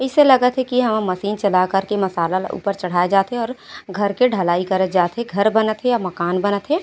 इसे लागत है की यहाँ मशीन चला कर के मशाला ऊपर चड़ाया जात है और घर के ढलाई करे जात है घर बनत है या मकन बनत है। --